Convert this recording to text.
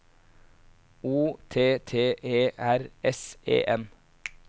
O T T E R S E N